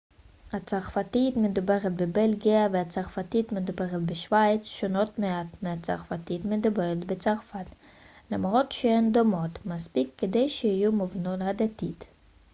הצרפתית המדוברת בבלגיה והצרפתית המדוברת בשוויץ שונות מעט מהצרפתית המדוברת בצרפת למרות שהן דומות מספיק כדי שיהיו מובנות הדדית